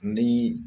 Ni